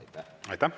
Aitäh!